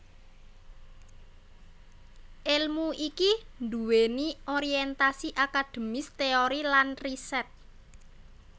Èlmu iki nduwèni orientasi akademis teori lan riset